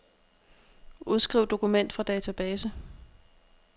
Udskriv dokument fra database.